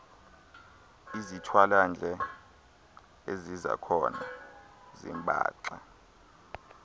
izithwalandwe ezizakhono zimbaxa